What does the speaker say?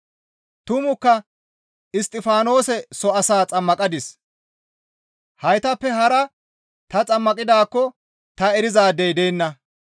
Tumukka Isttifaanose soo asaa xammaqadis; heytappe hara ta xammaqidaakko ta erizaadey deenna.